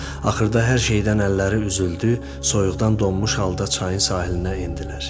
Axırda hər şeydən əlləri üzüldü, soyuqdan donmuş halda çayın sahilinə endilər.